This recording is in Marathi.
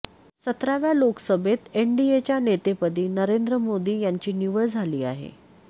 सतराव्या लोकसभेत एनडीएच्या नेतेपदी नरेंद्र मोदी यांची निवड झाली आहे